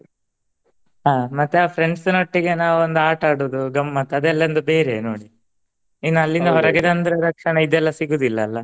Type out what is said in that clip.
ಹ ಮತ್ತೆ ಆ friends ನೊಟ್ಟಿಗೆ ನಾವೊಂದು ಆಟ ಆಡೋದು ಗಮ್ಮತ್ ಅದೆಲ್ಲ ಒಂದು ಬೇರೆಯೆ ನೋಡಿ ಇನ್ ಅಲ್ಲಿಂದ ಹೊರಗೆ ಬಂದ ತಕ್ಷಣ ಇದೆಲ್ಲ ಸಿಗುದಿಲ್ಲ ಅಲ್ಲ.